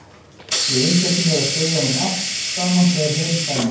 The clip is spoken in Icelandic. Ég einsetti mér að segja honum allt saman þegar heim kæmi.